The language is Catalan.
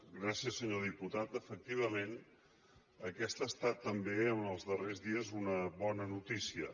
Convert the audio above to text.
gràcies senyor diputat efectivament aquesta ha estat també els darrers dies una bona notícia